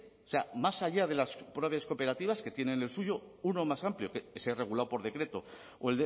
o sea más allá de las propias cooperativas que tienen el suyo uno más amplio que sea regulado por decreto o